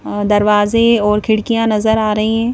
अ दरवाजे और खिड़कियां नजर आ रही हैं.